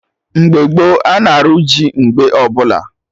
Mgbe gboo, ana arụ ji mgbe ọbụla